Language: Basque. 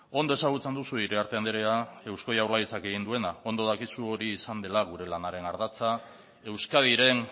ondo ezagutzen duzu iriarte andrea eusko jaurlaritzak egin duena ondo dakizu hori izan dela gure lanaren ardatza euskadiren